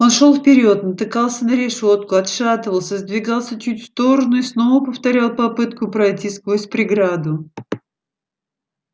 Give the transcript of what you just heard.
он шёл вперёд натыкался на решётку отшатывался сдвигался чуть в сторону и снова повторял попытку пройти сквозь преграду